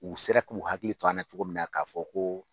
U sera k'u hakili to an na cogo min na k'a fɔ ko